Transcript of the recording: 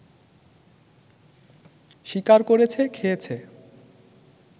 শিকার করেছে, খেয়েছে